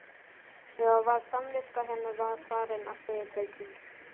Eða var samviska hennar farin að segja til sín?